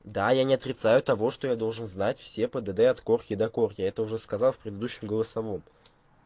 да я не отрицаю того что я должен знать все пдд от корки до корки это уже сказал в предыдущем голосовом